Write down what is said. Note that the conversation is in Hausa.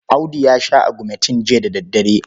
Audu ya sha agumentin jiya da daddare.